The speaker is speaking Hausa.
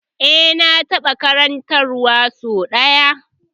Eh na taɓa karanta wa sau ɗaya